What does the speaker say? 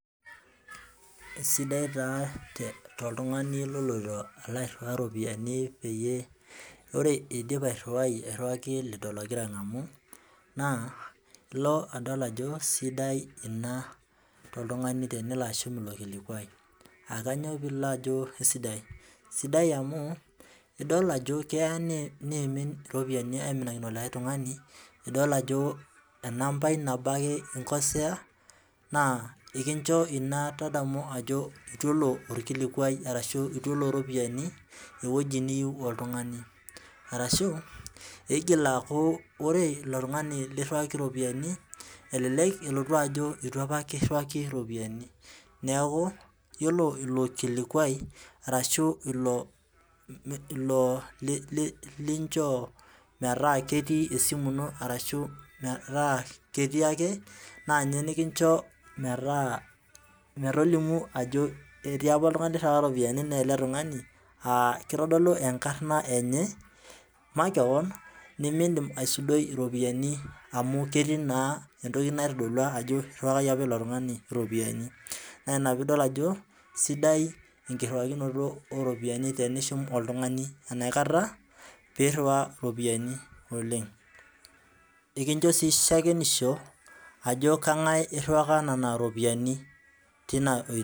Kesidai taa tooltung'ani oloito alo airriwa itopiyiani peyie ore eidip airriwai airriwaki lido logira ng'amu naa ilo adol ajo sidai ina tooltung'ani teneloashum ilo kilikwai, aa kanywa pilo ajo aesidai, sidai amuu idol ajo keya neim irropiyani aiminakino likae tung'ani nidol ajo enampai naboo ake inkosea naa ekincho ina tadamu ajo etu elo olkilikuai arashu itu elo irropiyani eweji niyieu oltung'ani, arashu iigil aaku ore ilo tung'ani lirriwaki irropiyiani elelek elotu ajo itu apa kiriwaki irropiyani, neeku iyiolo ilo kilikwai arashu ilo ilo linchoo metaa ketii esimun ino arashu metaa ketii ake naa nye nikincho metaa metolimu ajo etii apa oltung'ani oiriwaka irropiyiani mee ele tung'ani aa ketodolu enkarna enye makewan nimiindim asudoi irropiyiani amuu ketii naa antoki naitodolua ajo irriwakaki apa ilo tung'ani irropiyiani, naa ina pidol ajo sidai enkiwakinoto oo ropiyani tenishum oltung'ani anaekata peeirriwa irropiyani oleng' ,ekichoo sii shakenisho ajo keng'ae irriwaka nena ropiyani teina oitoi.